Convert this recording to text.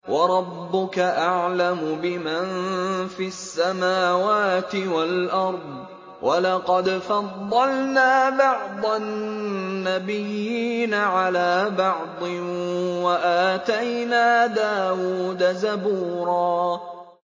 وَرَبُّكَ أَعْلَمُ بِمَن فِي السَّمَاوَاتِ وَالْأَرْضِ ۗ وَلَقَدْ فَضَّلْنَا بَعْضَ النَّبِيِّينَ عَلَىٰ بَعْضٍ ۖ وَآتَيْنَا دَاوُودَ زَبُورًا